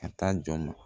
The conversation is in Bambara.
A t'a jɔn